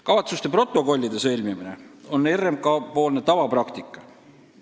Kavatsuste protokollide sõlmimine on RMK tavapraktika.